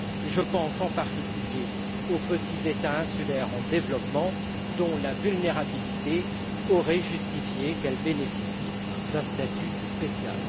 Je pense, en particulier, aux petits États insulaires en développement, dont la vulnérabilité aurait justifié qu'ils bénéficient d'un statut spécial.